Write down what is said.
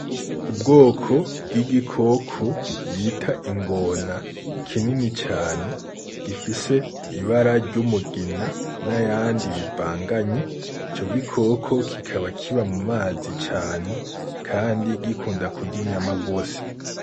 Ubwoko bw'igikoko bita ingona kinini cane, gifise ibara ry’umugina n'ayandi bivanganye, ico gikoko kikaba kiba mu mazi cane kandi gikunda kurya inyama gose.